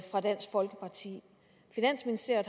dansk folkeparti